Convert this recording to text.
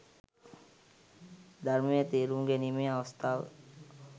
ධර්මය තේරුම් ගැනීමේ අවස්ථාව